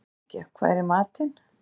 Snekkja, hvað er í matinn?